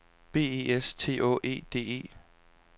B E S T Å E D E